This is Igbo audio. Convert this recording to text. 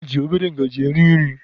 E ji obere ngajị eri nri.